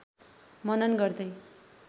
मनन गर्दै